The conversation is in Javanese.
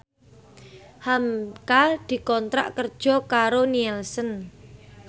hamka dikontrak kerja karo Nielsen